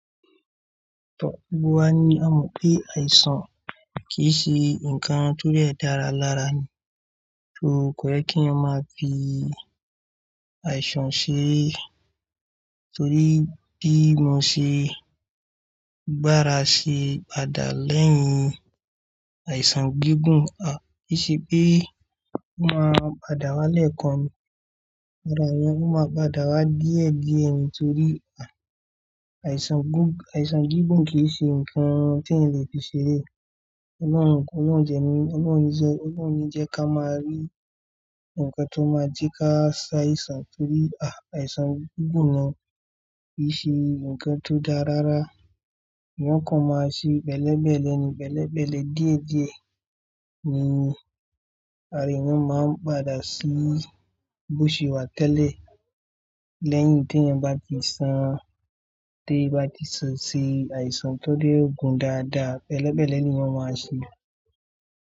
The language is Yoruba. Tọ̀ gbogbo wa ni a mọ̀ pé àìsàn kì í ṣe nǹkan tó dẹ̀ dára lára ni. So kò yẹ kí a máa fi àìsàn ṣe, torí bí mo ṣe gbára ṣe padà lẹ́yìn àìsàn gígùn a kì í ṣe pé ó máa padà wá lẹ́ẹ̀kan ni. Rárá o, ó máa padà wá díẹ̀ díẹ̀ torí àìsàn gígùn kì í ṣe nǹkan tí èyàn lè fi ṣeré. Ọlọ́hun kó má jẹ ní, Ọlọ́hun ò ní jẹ́ kí a máa rí ǹkan tó máa jẹ́ ká ṣàìsàn torí àìsàn gígùn yẹn kì í ṣe ǹkan tó dára rárá. Ìyẹn kan máa sì bẹ̀lébẹ̀lé ni, bẹ̀lébẹ̀lé díẹ̀díẹ̀ ni ara èyàn máa ń padà sí bóṣe wà tẹ́lẹ̀ lẹ́yìn tí èyàn bá ti san, tí èyàn bá ti se sí àìsàn tó dẹ̀ gùn dáadáa, bẹ̀lébẹ̀lé ni èyan ma ma se.